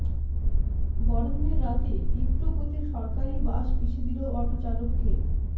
বড়দিনের রাতে তীব্র গতির সরকারি বাস পিষে দিল অটোচালককে